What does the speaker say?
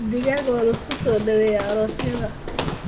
Digaag waa lagu soo dhaweeyaa aroosyada.